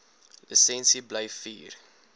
lisensie bly vier